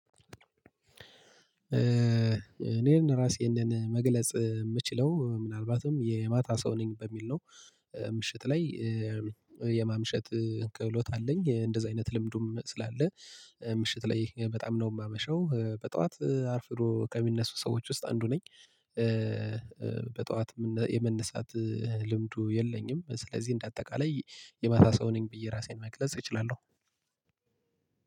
እኔን ራሴን መግለጽ የምችለው ምናልባትም የማታ ሰው ነኝ በሚል ነው። ምሽት ላይ የማምሸት ክህሎት አለኝ እንደዚህ አይነት ልምዱም ስላለ። ምሽት ላይ በጣም ነው የማመሸው በጠዋት አርፍዶ ከሚነሱ ሰዎች ውስጥ አንዱ ነኝ። በጠዋት የመነሳት ልምዱ የለኝም ስለዚህ እንደ አጠቃላይ የማታ ሰው ነኝ። ብዬ ራሴን መግለጽ እችላለሁ።